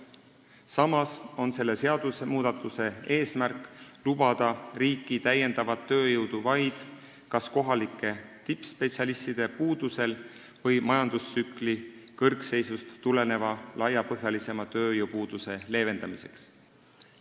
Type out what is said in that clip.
Samas on selle seadusmuudatuse eesmärk lubada riiki täiendavat tööjõudu vaid kas kohalike tippspetsialistide puuduse korral või majandustsükli kõrgseisust tuleneva laiapõhjalisema tööjõupuuduse leevendamiseks.